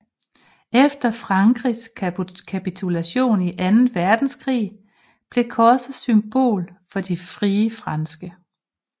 Efter Frankrigs kapitulation i anden verdenskrig blev korset symbol for De Frie Franske